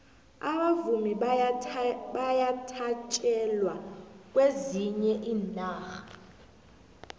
abavumi bayathatjelwa kwezinye iinarha